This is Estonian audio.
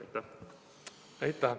Aitäh!